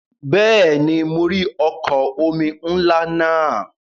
Bẹ́ẹ̀ni, mo rí ọkọ̀ omi ńlá náà.